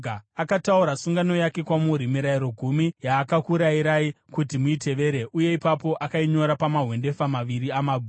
Akataura sungano yake kwamuri, Mirayiro Gumi, yaakakurayirai kuti muitevere uye ipapo akainyora pamahwendefa maviri amabwe.